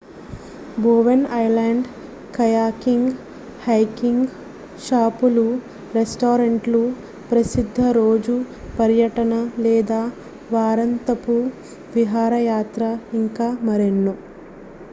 Bowen island kayaking hiking షాపులు రెస్టారెంట్లు ప్రసిద్ధ రోజు పర్యటన లేదా వారాంతపు విహారయాత్ర ఇంకా మరెన్నో